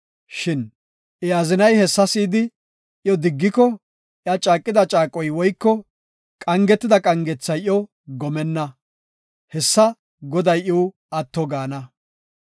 Shin I azinay hessa si7idi iyo diggiko iya caaqida caaqoy woyko qangetida qangethay iyo gomenna. Hessa Goday iw atto gaana.